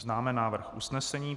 Známe návrh usnesení.